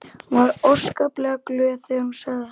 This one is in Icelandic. Hún var óskaplega glöð þegar hún sagði það.